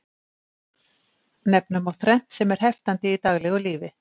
Nefna má þrennt sem er heftandi í daglegu lífi.